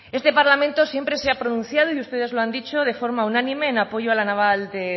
este parlamento siempre se ha pronunciado y ustedes lo han dicho de forma unánime en apoyo a la naval de